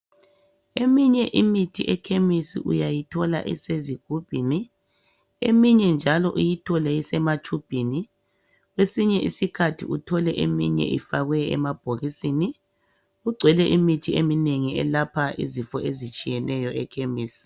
Eminye imithi ekhemisi uyayithola isezigubhini, eminye njalo uyithole isematshubhini. Kwesinye isikhathi uthole eminye ifakwe emabhokisini. Kugcwele imithi eminengi eyelapha izifo ezitshiyeneyo ekhemisi.